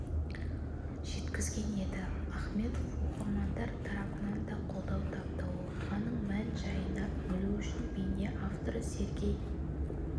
жеткізген еді ахметов оқырмандар тарапынан да қолдау тапты оқиғанын мән-жайына үңілу үшін бейне авторы сергей